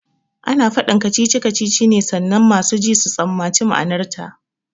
Ana faɗin kacici kacici ne sannan masu ji su tsammaci ma'anarta